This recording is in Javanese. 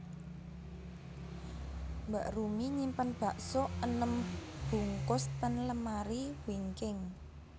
Mbak Rumi nyimpen bakso enem bungkus ten lemari wingking